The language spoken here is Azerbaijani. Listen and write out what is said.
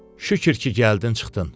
Şükür ki, gəldin çıxdın.